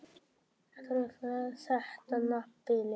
Truflar þetta nábýli?